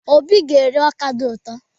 Obi ga-eri ọka dị ụtọ.